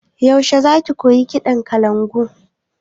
Yaushe za ki koyi kaɗa kalangu?